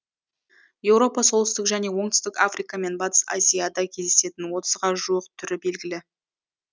еуропа солтүстік және оңтүстік африка мен батыс азияда кездесетін отызға жуық түрі белгілі